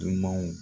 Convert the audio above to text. Dunumanw